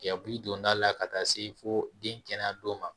Yakulu donda la ka taa se fo den kɛnɛ don ma